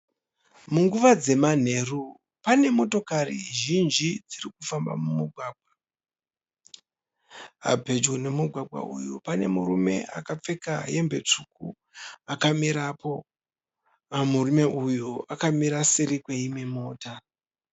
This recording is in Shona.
Munguva dzemanheru. Pane motokari zhinji dziri kufamba mumugwagwa. Pedyo nemugwagwa uyu pane murume akapfeka hembe tsvuku akamirapo. Murume uyu akamira seri kweimwe mota.